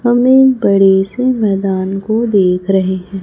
हमने बड़े से मैदान को देख रहे हैं।